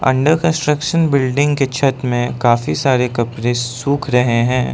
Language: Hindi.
अंडर कंस्ट्रक्शन बिल्डिंग के छत में काफी सारे कपड़े सूख रहे हैं।